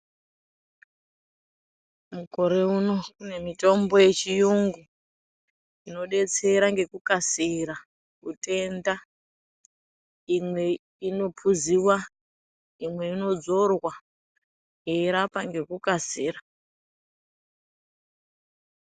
Mukore uno kune mutombo yechiyungu, inodetsera ngekukasira, utenda, imwe inophuziwa, imwe inodzorwa, yeirapa ngekukasira.